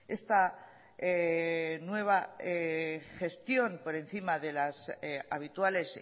esta nueva gestión por encima de las habituales